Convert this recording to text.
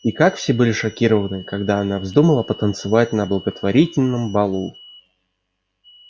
и как все были шокированы когда она вздумала потанцевать на благотворительном балу